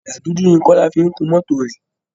Ọ̀dà dúdú ni kola fi ń kun mọ́tò rẹ